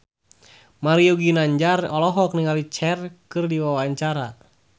Mario Ginanjar olohok ningali Cher keur diwawancara